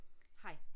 Hej